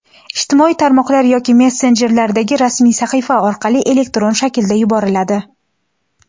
ijtimoiy tarmoqlar yoki messenjerlardagi rasmiy sahifa) orqali elektron shaklda yuboriladi.